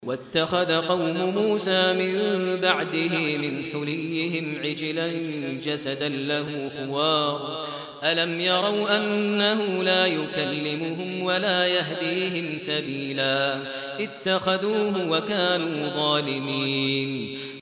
وَاتَّخَذَ قَوْمُ مُوسَىٰ مِن بَعْدِهِ مِنْ حُلِيِّهِمْ عِجْلًا جَسَدًا لَّهُ خُوَارٌ ۚ أَلَمْ يَرَوْا أَنَّهُ لَا يُكَلِّمُهُمْ وَلَا يَهْدِيهِمْ سَبِيلًا ۘ اتَّخَذُوهُ وَكَانُوا ظَالِمِينَ